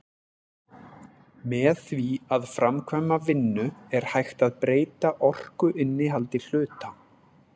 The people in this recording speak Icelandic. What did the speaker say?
Með því að framkvæma vinnu er hægt að breyta orkuinnihaldi hluta.